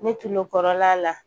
Ne tulo kɔrɔla la